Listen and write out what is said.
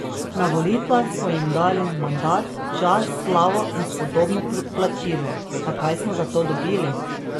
Na volitvah smo jim dali mandat, čast, slavo in spodobno plačilo, a kaj smo za to dobili?